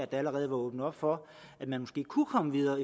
der allerede var åbnet op for at man måske kunne komme videre